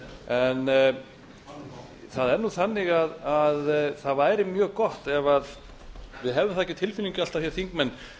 það er nú þannig að það væri mjög gott ef við hefðum það ekki á tilfinningunni alltaf hér þingmenn